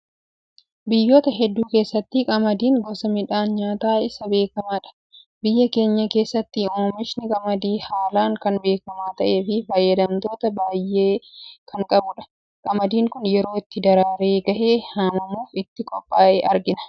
Biyyoota hedduu keessatti qamadiin gosa midhaan nyaataa isa beekamaadha. Biyya keenya keessattis oomishni qamadii haalaan kan beekamaa ta'ee fi fayyadamtoota baayyee kan qabudha. Qamadiin Kun yeroo itti daraaree gahee haamamuuf ittiin qophaa'e argina.